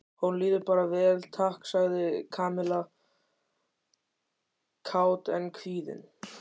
Honum líður bara vel, takk sagði Kamilla kát en kvíðin.